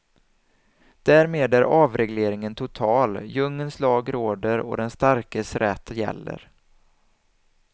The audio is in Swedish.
Därmed är avregleringen total, djungelns lag råder och den starkes rätt gäller.